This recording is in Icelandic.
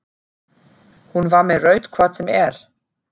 Hún var með rautt hvort sem er.